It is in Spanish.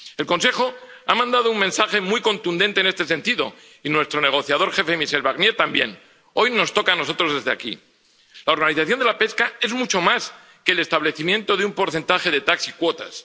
El Consejo ha mandado un mensaje muy contundente en este sentido y nuestro negociador jefe, Michel Barnier, también. Hoy nos toca a nosotros desde aquí. La organización de la pesca es mucho más que el establecimiento de un porcentaje de TAC y cuotas.